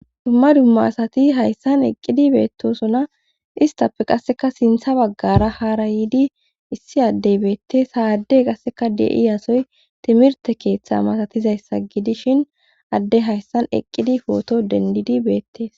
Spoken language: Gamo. Dumma dumma asati haysan eqidi betosona , istappe qaseka sintha bagara hara yiid issi Adey betesi.